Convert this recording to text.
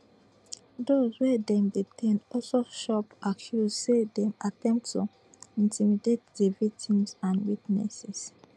dose wey dem detain also chop accuse say dem attempt to intimidate di victims and witnesses